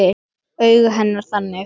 Augu hennar þannig.